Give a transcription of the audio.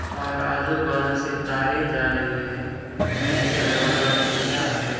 और आजू-बाजू से तारे जा रही है नीचे दरवाजा खुला है।